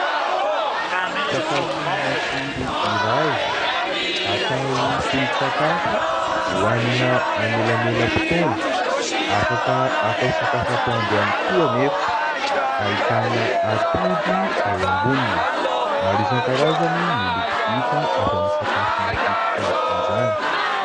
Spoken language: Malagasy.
Sakafo matsiro iray atao solon-tsakafo, hohanina anelanelam-potoana, afaka atao sakafo atoandro ihany koa anefa. Ahitana atody eo amboniny. Maro isankarazany ny loko hita avy amin'ny sakafo mafilotra izany.